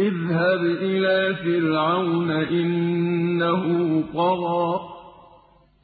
اذْهَبْ إِلَىٰ فِرْعَوْنَ إِنَّهُ طَغَىٰ